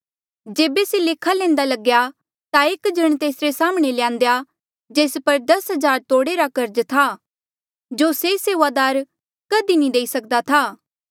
जेबे से लेखा लैंदा लग्या ता एक जण तेसरे साम्हणें ल्यान्देया जेस पर दस हजार तोड़े रा कर्ज था जो से सेऊआदार कधी भी नी देई सक्दा था